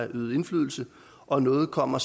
øvet indflydelse og noget kommer